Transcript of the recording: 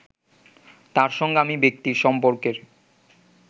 তার সঙ্গে আমি ব্যক্তির সম্পর্কের